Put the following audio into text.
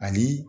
Ani